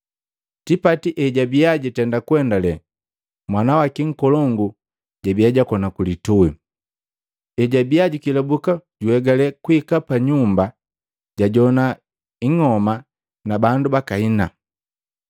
“Tipati ejwabia jitenda kuendale mwana waki nkolongu jabia jakona ku litui. Ejwabiya jukelabuka juegale kuhika pa nyumba jajowana ing'oma na bandu bakahina.